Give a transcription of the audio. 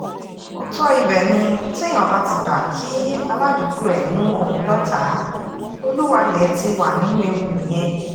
òótọ́ ibẹ̀ ni téèyàn bá ti gbà kí aládùúgbò ẹ̀ mú òun lọ́tàá olúwalẹ̀ ti wà nínú ewu nìyẹn